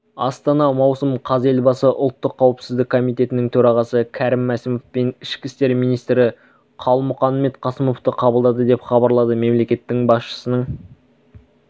астана маусым қаз елбасы ұлттық қауіпсіздік комитетінің төрағасы кәрім мәсімов пен ішкі істер министрі қалмұханбет қасымовты қабылдады деп хабарлады мемлекет басшысының